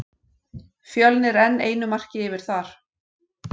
Fjölnir enn einu marki yfir þar.